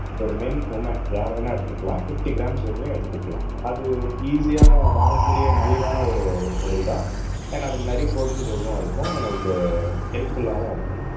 ஒரு men women யாரு வேணா எடுத்துக்கலாம் பிப்டி க்ராம்ஸ் வரையும் எடுத்துக்கலாம் அது ஈஸியான வாங்கக்கூடிய மலிவான ஒரு ஒரு பொருள்தான் அண்ட் அதுல நிறைய ப்ரோடீன் சோர்ஸும் இருக்கும் உங்களுக்கு ஹெல்ப்புல்லாவும் இருக்கும்